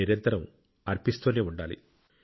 నిరంతరం అర్పిస్తూనే ఉండాలి